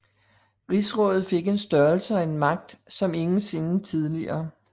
Rigsrådet fik en størrelse og magt som ingen sinde tidligere